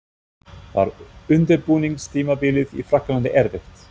Var undirbúningstímabilið í Frakklandi erfitt?